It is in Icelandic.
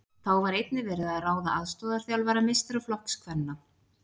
Þá var einnig verið að ráða aðstoðarþjálfara meistaraflokks kvenna.